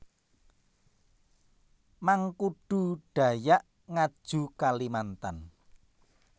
Mangkudu Dayak Ngaju Kalimantan